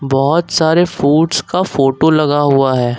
बहोत सारे फूड्स का फोटो लगा हुआ है।